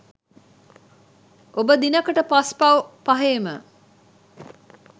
ඔබ දිනකට පස් පව් පහේම